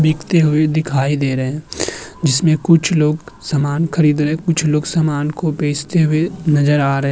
बिकते हुए दिखाई दे रहे हैं जिसमें कुछ लोग समान खरीदने कुछ लोग समान को बेचते हुए नजर आ रहे --